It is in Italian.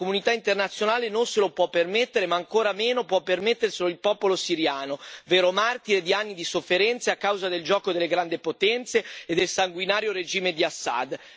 La comunità internazionale non se lo può permettere ma ancora meno può permetterselo il popolo siriano, vero martire di anni di sofferenza a causa del gioco delle grandi potenze e del sanguinario regime di Assad.